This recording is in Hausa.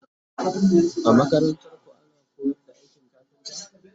a makarantarku ana koyar da aikin kafinta?